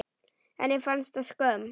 Henni fannst það skömm.